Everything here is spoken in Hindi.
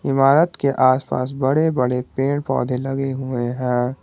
इमारत के आसपास बड़े बड़े पेड़ पौधे लगे हुए है।